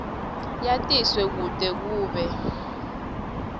yatiswe kute kube